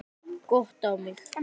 Gott á mig.